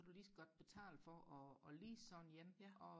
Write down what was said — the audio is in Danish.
kunne du lige så godt betale for og og lease sådan en og